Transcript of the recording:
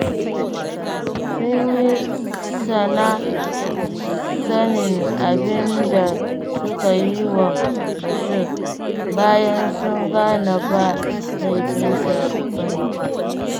Sun yi da-na-sanin abin da suka yi wa Bashir, bayan sun gane ba laifinsa ba ne.